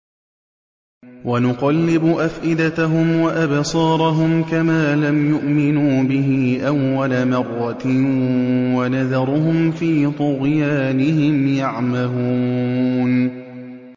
وَنُقَلِّبُ أَفْئِدَتَهُمْ وَأَبْصَارَهُمْ كَمَا لَمْ يُؤْمِنُوا بِهِ أَوَّلَ مَرَّةٍ وَنَذَرُهُمْ فِي طُغْيَانِهِمْ يَعْمَهُونَ